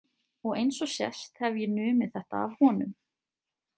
Og eins og sést hef ég numið þetta af honum.